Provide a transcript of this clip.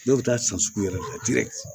Dɔw bɛ taa san sugu yɛrɛ la